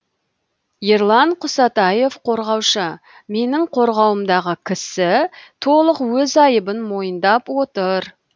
ерлан құсатаев қорғаушы менің қорғауымдағы кісі толық өз айыбын мойындап отыр